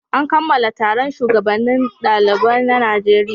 An kammala taron shugabannin ɗalibai na Najeriya.